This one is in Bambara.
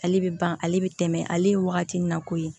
Ale bɛ ban ale bɛ tɛmɛ ale ye wagati min na koyi